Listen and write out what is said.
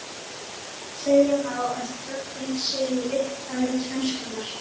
Segja má að trogin séu í upphafi tvennskonar.